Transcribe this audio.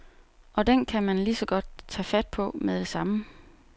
Og den kan man ligeså godt tage fat på med det samme.